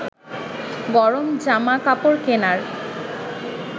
গরম জামা কাপড় কেনার